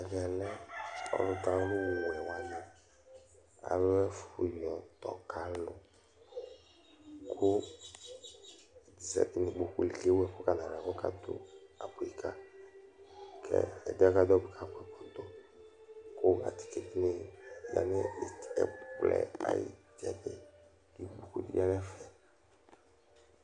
Ɛvɛ lɛ alʋ dʋ awʋwɛ wanɩ ayʋ ɛfʋyɔdɔ ka alʋ Kʋ ɛdɩ zǝtɩ nʋ ikpoku li, kʋ aka dʋ abʋi kayi Kʋ ɛdɩɛ akadu abʋi kayi mʋa, atike nɩ alɛ nʋ ɛkplɔ yɛ ayʋ itsɛdɩ Ikpoku nɩbɩ lɛ nʋ ɛfɛ